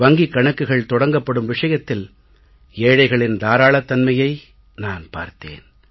வங்கிக் கணக்குகள் தொடங்கப்படும் விஷயத்தில் ஏழைகளின் தாராளத் தன்மையை நான் பார்த்தேன்